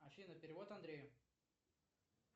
афина перевод андрею